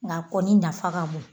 Nka kɔni nafa ka bon